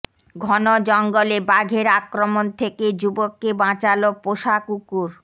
ঘন জঙ্গলে বাঘের আক্রমণ থেকে যুবককে বাঁচাল পোষা কুকুর